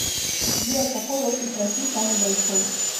сбер какой остров россии самый большой